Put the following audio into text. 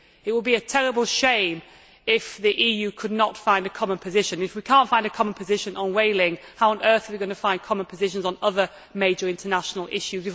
It would be a terrible shame if the EU could not find a common position. If we cannot find a common position on whaling, how on earth are we going to find common positions on other major international issues?